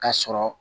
Ka sɔrɔ